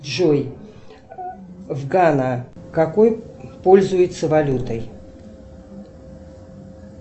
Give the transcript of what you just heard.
джой в гана какой пользуются валютой